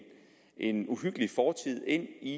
en uhyggelig fortid ind i